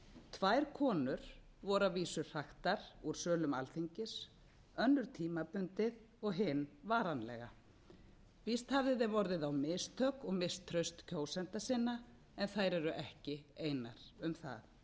tvær konur voru að vísu hraktar úr sölum alþingis önnur tímabundið og hin varanlega víst hafði þeim orðið á mistök og misst traust kjósenda sinna en þær eru ekki einar um það